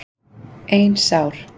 Ein sár.